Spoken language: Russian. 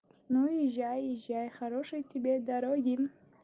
ну езжай езжай хорошей тебе дороги